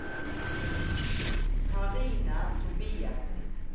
Karina Tobiassen